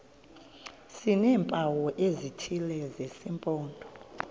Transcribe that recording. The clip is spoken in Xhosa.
sineempawu ezithile zesimpondo